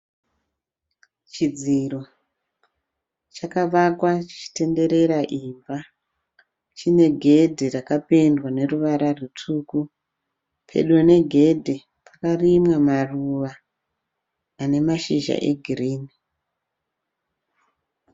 Chidziro chakavakwa chichitendera imba. Chine gedhe rakapendwa neruvara rutsvuku. Pedo negedhe pakarimwa maruva ane mashizha egirinhi.